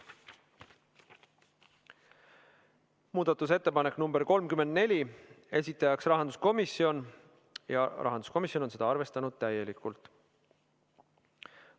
Muudatusettepanek nr 34, esitajaks on rahanduskomisjon ja seda on arvestatud täielikult.